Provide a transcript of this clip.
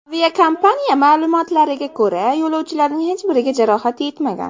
Aviakompaniya ma’lumotlariga ko‘ra, yo‘lovchilarning hech biriga jarohat yetmagan.